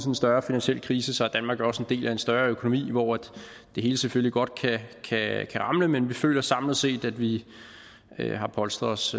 en større finansiel krise er danmark jo også en del af en større økonomi hvor det hele selvfølgelig godt kan ramle men vi føler samlet set at vi har polstret os